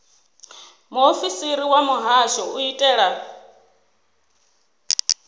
muofisiri wa muhasho u itela